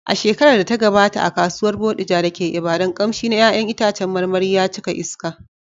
A shekarar da ta gabata, a Kasuwar Bodija da ke Ibadan, ƙamshi na ’ya’yan itacen marmari ya cika a iska.